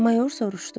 Mayor soruşdu.